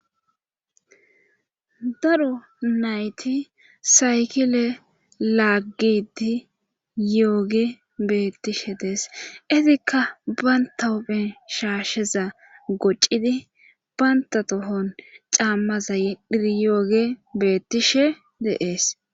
daro nayti saykile laaggidi yooge beettishe dees etikka baynta huphen shaasheza goccidi banta tohon caammaza yedhir yooge beettishe de'ees